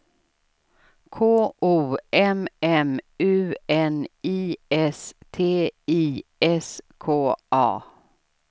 K O M M U N I S T I S K A